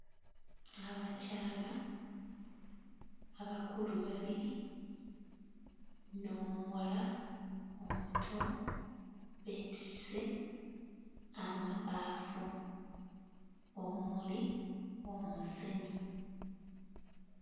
Abakyala abakulu babiri n'omuwala omuto beetisse amabaafu omuli omusenyu.